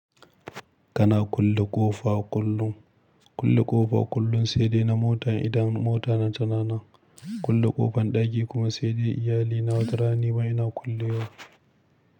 Kana kulle ƙofa kullum? Kulle ƙofa kullum sai dai na mota idan mota na ta nan. Kulle ƙofan ɗaki kuma sai dai iyali na, wata rana nima ina kullewa.